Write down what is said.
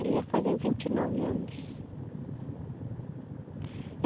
Ele ia fazer vinte e nove anos.